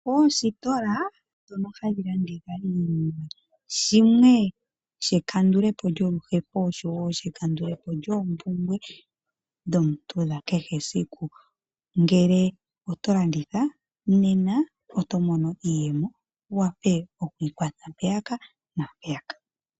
Oositola dhono hadhi landitha iinima, shimwe shekandulepo lyoluhepo oshowe ekandulepo lyoompumbwe dhomuntu dha kehe esiku. Ngele oto landitha nena oto mono iiyemo wu wape okwiikwatha mpeyaka naampeyaka.